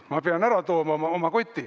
"Ma pean oma koti ära tooma.